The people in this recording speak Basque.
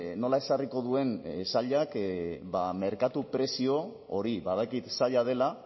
nola ezarriko duen sailak merkatu prezio hori badakit zaila dela